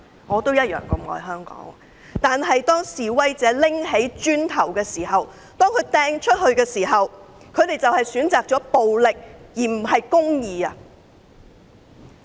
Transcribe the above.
我也愛香港，但示威者拿起磚頭擲出去的時候，他們選擇了暴力而不是公義。